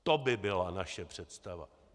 To by byla naše představa!